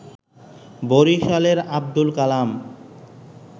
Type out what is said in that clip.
বরিশালের আব্দুল কালাম